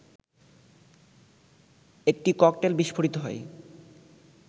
একটি ককটেল বিস্ফোরিত হয়